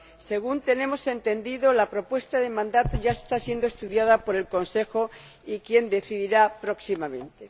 Según tenemos entendido, la propuesta de mandato ya está siendo estudiada por el Consejo, que decidirá próximamente.